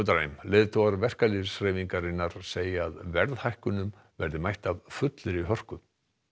dræm leiðtogar verkalýðshreyfingarinnar segja að verðhækkunum verði mætt af fullri hörku